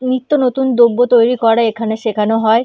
নিত্য নতুন দ্রব্য তৈরি করা এখানে শেখানো হয়।